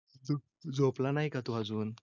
तू झोप ला नाही का तो अजून?